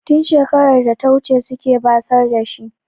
Tun shekarar data wuce suke basar da shi.